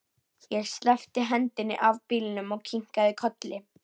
Ég sleppti hendinni af bílnum og kinkaði kolli.